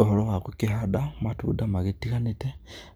Ũhoro wagũkĩhanda matunda magĩtiganĩte,